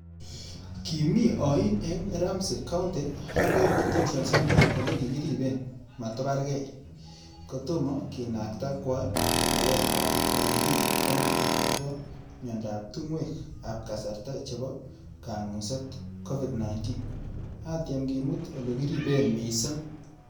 Kimii ayin eng Ramsey County Adult Detention Center ole kikiripe mato parkei, kotomo ke nakta kwoo korkoret ap Hennepin County akopo miyandop tungwek ap karasta chebo kanguset(Covid 19) atyem kimut ole kiripee mising.